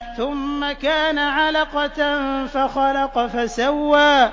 ثُمَّ كَانَ عَلَقَةً فَخَلَقَ فَسَوَّىٰ